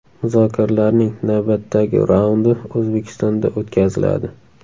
Muzokaralarning navbatdagi raundi O‘zbekistonda o‘tkaziladi.